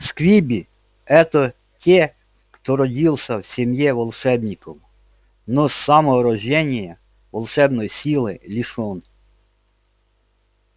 сквиби это те кто родился в семье волшебников но с самого рождения волшебной силы лишён